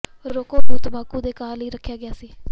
ਰੌਕਕੋ ਨੂੰ ਤੰਬਾਕੂ ਦੇ ਘਾਹ ਲਈ ਰੱਖਿਆ ਗਿਆ ਸੀ